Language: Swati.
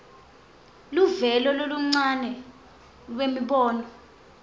luvelo loluncane lwemibono